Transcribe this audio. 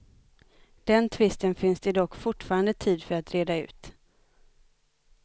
Den tvisten finns det dock fortfarande tid för att reda ut.